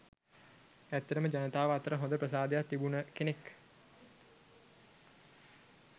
ඇත්තටම ජනතාව අතර හොඳ ප්‍රසාදයක් තිබුණ කෙනෙක්.